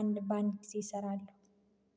አንድ በአንድ ጊዜ ይሰራል